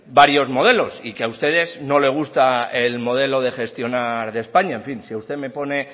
varios modelos y que a ustedes no le gusta el modelo de gestionar de españa en fin si usted me pone